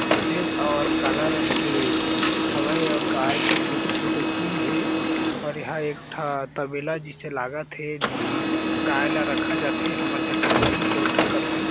सफ़ेद अउ काला रंग के हावय आऊ गाय के छोटे-छोटे सिंग हें और यह एक ठा तबेला जइसे लागत हें जीहा गाय ला रखा जाथे हमर छत्तीसगढ़ी म कोटा कइथन।